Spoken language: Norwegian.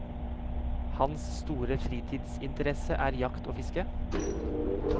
Hans store fritidsinteresse er jakt og fiske.